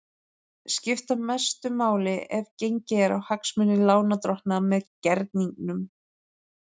skipta mestu máli ef gengið er á hagsmuni lánardrottna með gerningnum.